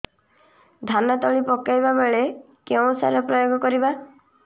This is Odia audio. ଧାନ ତଳି ପକାଇବା ବେଳେ କେଉଁ ସାର ପ୍ରୟୋଗ କରିବା